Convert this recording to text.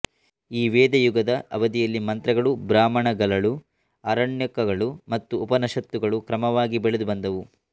ಈ ವೇದ ಯುಗದ ಅವಧಿಯಲ್ಲಿ ಮಂತ್ರಗಳು ಬ್ರಾಹ್ಮಣಗಲಳು ಆರಣ್ಯಕಗಳು ಮತ್ತು ಉಪನಷತ್ತುಗಳು ಕ್ರಮವಾಗಿ ಬೆಳೆದು ಬಂದವು